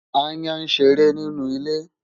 Aáyán ń ṣeré nínú ilé.